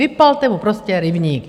Vypalte mu prostě rybník!